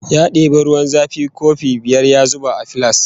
Ya debi ruwan zafi kofi biyar ya zuba a filas